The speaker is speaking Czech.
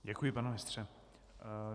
Děkuji, pane ministře.